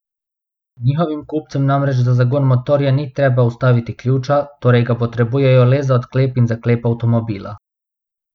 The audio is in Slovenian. Njihovim kupcem namreč za zagon motorja ni treba vstaviti ključa, torej ga potrebujejo le za odklep in zaklep avtomobila.